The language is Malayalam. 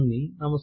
നമസ്കാരം